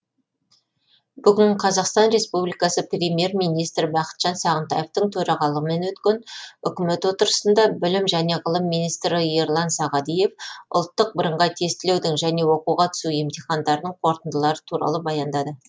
бүгін қазақстан республикасы премьер министрі бақытжан сағынтаевтың төрағалығымен өткен үкімет отырысында білім және ғылым министрі ерлан сағадиев ұлттық бірыңғай тестілеудің және оқуға түсу емтихандарының қорытындылары туралы баяндады